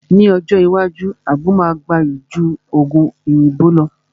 Ní ọjọ́ iwájú, àgbo máa gbayì ju Ògùn òyìnbó lọ